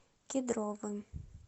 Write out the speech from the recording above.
кедровым